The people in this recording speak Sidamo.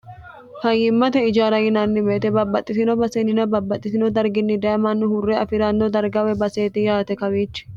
fayyimmate ijara yinanni weete babbaxxitino baseennina babbaxxitino darginni daye mannu hurre afi'ranno darga woy baseeti yaate kawiichi